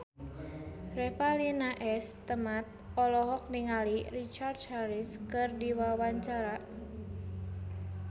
Revalina S. Temat olohok ningali Richard Harris keur diwawancara